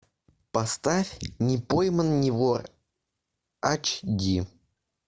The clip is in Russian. поставь не пойман не вор ач ди